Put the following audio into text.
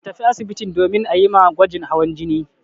Ka tafi asibitin domin a yi ma gwajin hawan jini.